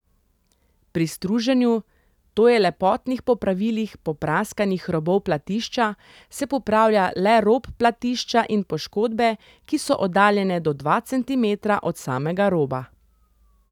Pri struženju, to je lepotnih popravilih popraskanih robov platišča, se popravlja le rob platišča in poškodbe, ki so oddaljene do dva centimetra od samega roba.